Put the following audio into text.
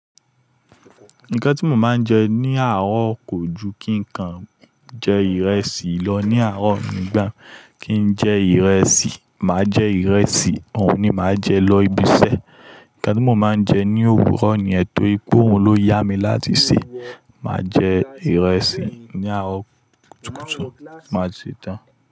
Nǹkan tí mo máa ń jẹ ní àárọ̀ kò ju kí nǹkan jẹ ìrẹsì lọ. Ni àárọ̀ nígbà kí n jẹ ìrẹsì, màá jẹ ìrẹsì, òun ni màá jẹ lọ ibiṣẹ́. Ǹkan tí mo máa ń jẹ ní òwúrọ̀ nìyen tòri pé, òun ló yá mi láti sèé. Màá jẹ ìrẹsì ní àárọ̀ kùtùkùtù, màá sì tàn án.